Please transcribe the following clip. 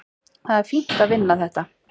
Það er fínt að vinna þetta.